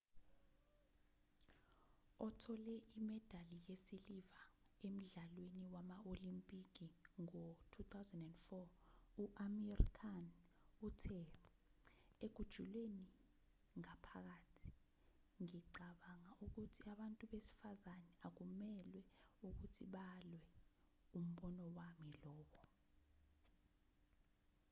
othole imedali yesiliva emdlalweni wama-olimpiki ngo-2004 u-amir khan uthe ekujuleni ngaphakathi ngicabanga ukuthi abantu besifazane akumelwe ukuthi balwe umbono wami lowo